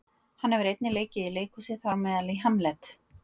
hann hefur einnig leikið í leikhúsi þar á meðal í hamlet